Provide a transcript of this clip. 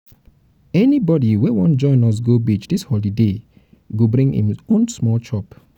anybodi wey wan join us go beach dis holiday go bring im own small chop.